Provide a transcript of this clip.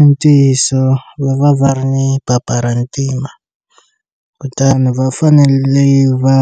I ntiyiso va va va ri ni paparantima kutani va fanele va